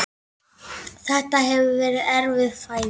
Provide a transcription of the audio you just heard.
Þetta hefur verið erfið fæðing.